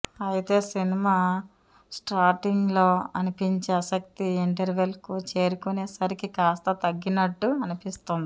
అయితే cinema starting లో అనిపించే ఆసక్తి ఇంటర్వెల్ కు చేరుకునే సరికి కాస్త తగ్గినట్టు అనిపిస్తుంది